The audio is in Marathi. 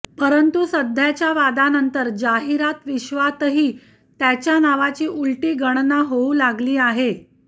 परंतु सध्याच्या वादानंतर जाहिरात विश्वातही त्याच्या नावाची उलटी गणना होऊ लागली आहे